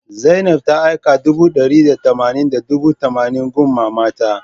Zainab ta aika dubu d'ari da tamanin da dubu tamanin gun mamanta